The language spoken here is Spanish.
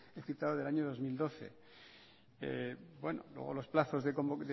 he citado del año dos mil doce luego los plazos